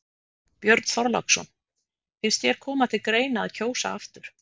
Björn Þorláksson: Finnst þér koma til greina að kjósa aftur?